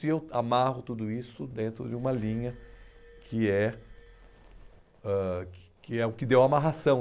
E eu amarro tudo isso dentro de uma linha que é ãh que que é o que deu a amarração.